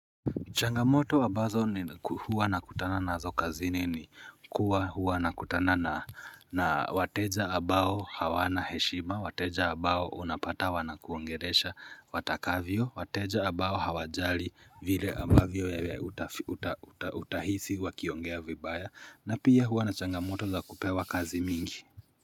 Changamoto abazo huwa nakutana na zo kazini ni kuwa huwa nakutana na wateja abao hawana heshima, wateja abao unapata wanakuongeresha watakavyo, wateja abao hawajali vile abavyo ya utahisi wakiongea vibaya na pia huwa na changamoto za kupewa kazi mingi.